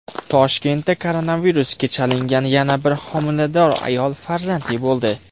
Toshkentda koronavirusga chalingan yana bir homilador ayol farzandli bo‘ldi.